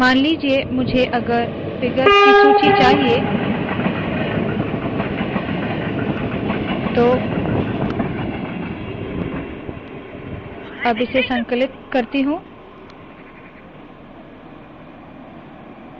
मान लीजिये मुझे अगर फिगर्स की सूची चाहिए तो मैं इस संकलित करती हूँ